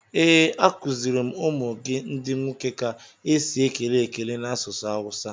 Ee, a kuziri m ụmụ gị ndi nwoke ka esi ekele ekele n'asụsụ Awusa.